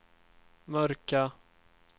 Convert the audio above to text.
mörka